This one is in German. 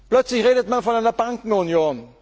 Plötzlich redet man von einer Bankenunion.